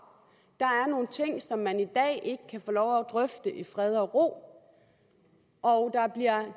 der er nogle ting som man i dag ikke kan få lov at drøfte i fred og ro og